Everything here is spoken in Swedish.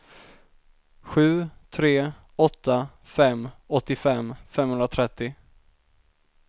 sju tre åtta fem åttiofem femhundratrettio